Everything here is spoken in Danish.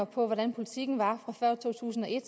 på hvordan politikken var før to tusind og et